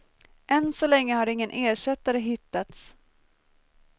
Än så länge har ingen ersättare hittats.